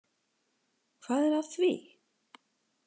Hvað er að því?